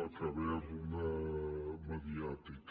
la caverna mediàtica